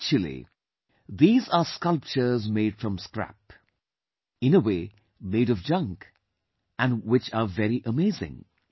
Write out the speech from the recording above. Actually these are sculptures made from scrap; in a way, made of junk and which are very amazing